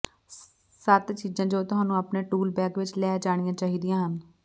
ਸੱਤ ਚੀਜ਼ਾਂ ਜੋ ਤੁਹਾਨੂੰ ਆਪਣੇ ਟੂਲ ਬੈਗ ਵਿੱਚ ਲੈ ਜਾਣੀਆਂ ਚਾਹੀਦੀਆਂ ਹਨ